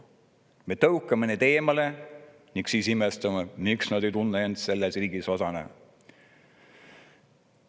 Me tõukame neid eemale ning siis imestame, miks nad ei tunne end selle riigi osana.